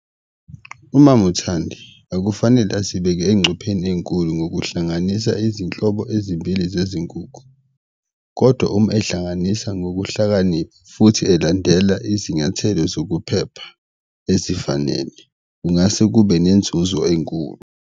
UMama uThandi akufanele asibeke encupheni enkulu ngokuhlanganisa izinhlobo ezimbili zezinkukhu kodwa uma ehlanganisa ngokuhlakanipha futhi elandela izinyathelo zokuphepha ezifanele, kungase kube nenzuzo enkulu.